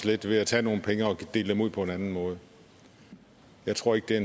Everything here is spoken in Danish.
lidt ved at tage nogle penge og dele dem ud på en anden måde jeg tror ikke det